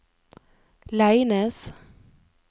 Leines